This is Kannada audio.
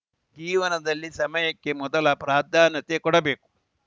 ಜೀವನದಲ್ಲಿ ಸಮಯಕ್ಕೆ ಮೊದಲ ಪ್ರಾಧಾನ್ಯತೆ ಕೊಡಬೇಕು